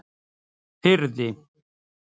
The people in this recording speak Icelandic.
Firði